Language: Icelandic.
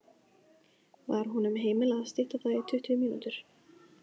Var honum heimilað að stytta það í tuttugu mínútur.